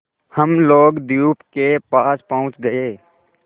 हम लोग द्वीप के पास पहुँच गए